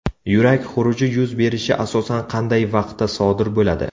Yurak xuruji yuz berishi asosan qanday vaqtda sodir bo‘ladi?